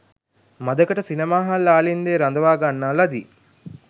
මඳකට සිනමාහල් ආලින්දයේ රඳවා ගන්නා ලදී